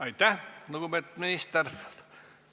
Aitäh, lugupeetud minister!